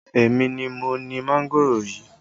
Èmi ni mo ni mángòrò yìí